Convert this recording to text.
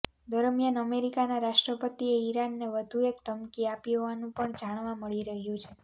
દરમિયાન અમેરિકાના રાષ્ટ્રપતિએ ઈરાનને વધુ એક ધમકી આપી હોવાનું પણ જાણવા મળી રહ્યું છે